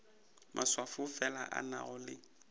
maswafo fela a nago le